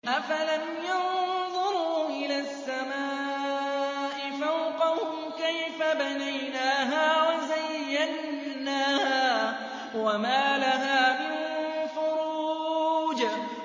أَفَلَمْ يَنظُرُوا إِلَى السَّمَاءِ فَوْقَهُمْ كَيْفَ بَنَيْنَاهَا وَزَيَّنَّاهَا وَمَا لَهَا مِن فُرُوجٍ